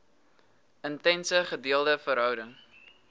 intense gedeelde verhouding